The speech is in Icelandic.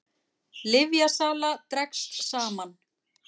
Lyfjasala dregst saman